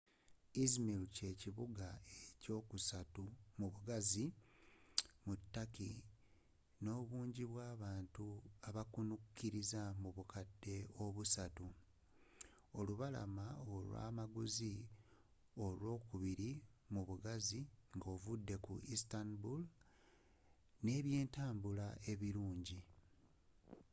izmir kye kibuga ekyokusatu mubugazi mu turkey nno obunji bwabantu abakomekeleza mu bukadde busatu olubalama olwa amaguzi olwokubili mubugazi nga ovudde istanbul nne ebyentabula ebilungi